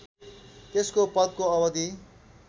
त्यसको पदको अवधि